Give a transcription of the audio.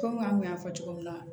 an kun y'a fɔ cogo min na